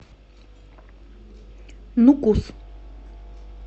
нукус